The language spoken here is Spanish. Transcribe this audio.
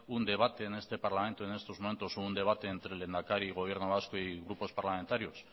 un debate en este parlamento en estos momentos o un debate entre el lehendakari y gobierno vasco y grupos parlamentarios